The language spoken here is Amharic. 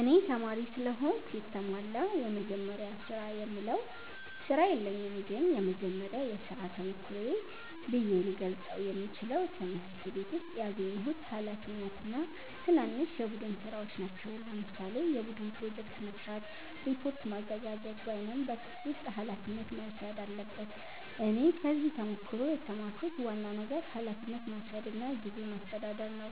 እኔ ተማሪ ስለሆንኩ የተሟላ “የመጀመሪያ ስራ”የምለው ስራ የለኝም ግን የመጀመሪያ የሥራ ተሞክሮዬ ብዬ ልገልጸው የምችለው ትምህርት ቤት ውስጥ ያገኘሁት ኃላፊነት እና ትናንሽ የቡድን ሥራዎች ናቸው። ለምሳሌ የቡድን ፕሮጀክት መስራት፣ ሪፖርት ማዘጋጀት ወይም በክፍል ውስጥ ኃላፊነት መውሰድ አለበት እኔ ከዚህ ተሞክሮ የተማርኩት ዋና ነገር ኃላፊነት መውሰድ እና ጊዜ ማስተዳደር ነው።